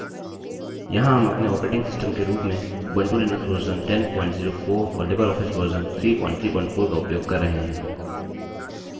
यहाँ हम अपने ऑपरेटिंग सिस्टम के रूप में उबंटु लिनक्स version 1004 और लिबरऑफिस version 334 का उपयोग कर रहे हैं